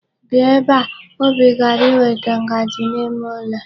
Bia ebe a! Obi gara iweta ngaji n'ime ụlọ.